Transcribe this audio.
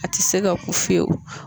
A ti se ka kun fewu